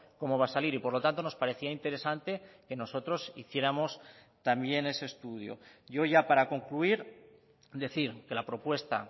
cómo va a salir y por lo tanto nos parecía interesante que nosotros hiciéramos también ese estudio yo ya para concluir decir que la propuesta